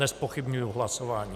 Nezpochybňuji hlasování.